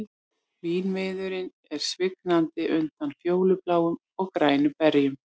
Vínviðurinn svignaði undan fjólubláum og grænum berjum